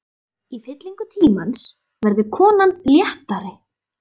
Í fyllingu tímans verður konan léttari.